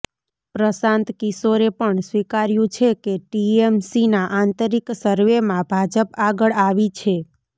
પ્રશાંત કિશોરે પણ સ્વીકાર્યું છે કે ટીએમસીના આંતરિક સર્વેમાં ભાજપ આગળ આવી છે